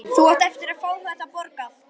Þú átt eftir að fá þetta borgað!